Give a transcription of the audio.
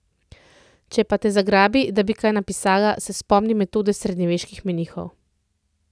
Če pa te zgrabi, da bi kaj napisala, se spomni metode srednjeveških menihov.